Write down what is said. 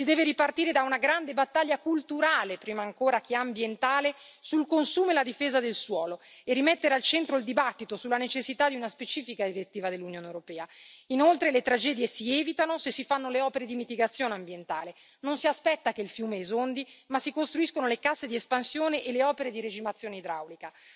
Si deve ripartire da una grande battaglia culturale, prima ancora che ambientale, sul consumo e la difesa del suolo e rimettere al centro il dibattito sulla necessità di una specifica direttiva dell'Unione europea. Inoltre, le tragedie si evitano se si fanno le opere di mitigazione ambientale non si aspetta che il fiume esondi ma si costruiscono le casse di espansione e le opere di regimazione idraulica.